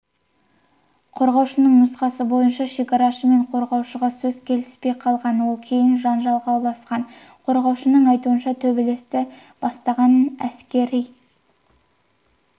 қорғаушының нұсқасы бойынша шекарашы мен қорғалушысөзге келіспей қалған ол кейін жанжалға ұласқан қорғаушының айтуынша төбелесті бастағанәскери